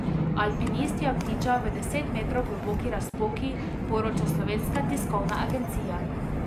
Alpinist je obtičal v deset metrov globoki razpoki, poroča Slovenska tiskovna agencija.